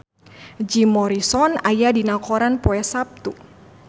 Jim Morrison aya dina koran poe Saptu